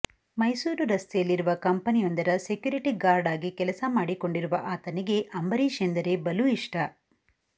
ಮೈಸೂರು ರಸ್ತೆಯಲ್ಲಿರುವ ಕಂಪನಿಯೊಂದರ security guard ಆಗಿ ಕೆಲಸ ಮಾಡಿಕೊಂಡಿರುವ ಆತನಿಗೆ ಅಂಬರೀಷ್ ಎಂದರೆ ಬಲು ಇಷ್ಟ